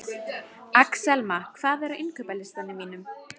Og þarf ekki að nefna nein nöfn í því sambandi.